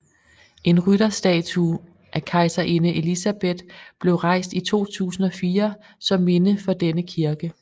En rytterstatue af kejserinde Elisabeth blev rejst i 2004 som minde for denne kirke